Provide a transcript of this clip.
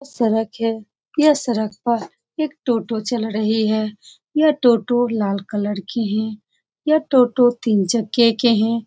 यह सड़क है। यह सड़क पर एक टोटो चल रही है। यह टोटो लाल कलर की है। यह टोटो तीन चक्के के है।